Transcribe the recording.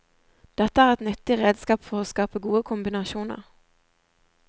Dette er et nyttig redskap for å skape gode kombinasjoner.